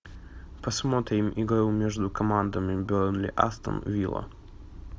посмотрим игру между командами бернли астон вилла